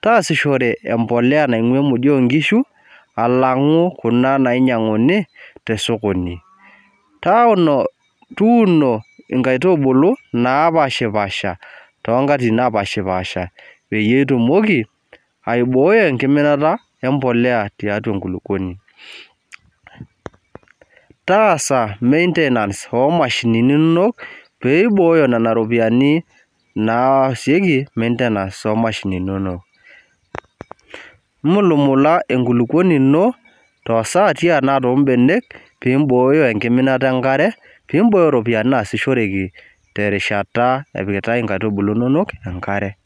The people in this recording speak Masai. Taasishore empolea naing'ua emodio onkishu, alang'u kuna nainyang'uni tesokoni. Tuuno inkaitubulu napashipasha tonkatitin napashipasha peyie itumoki, aibooi enkiminata empolea tiatua enkulukuoni. Taasa maintenance omashinini inonok, piboyo nena ropiyiani naasieki maintenance omashinini inonok. Mulumula enkulukuoni ino, tosati ena tobenek, pibooyo enkiminata enkare, pibooyo ropiyiani naasishoreki terishata epikitai inkaitubulu inonok, enkare.